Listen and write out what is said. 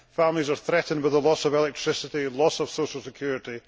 Families are threatened with the loss of electricity, or loss of social security.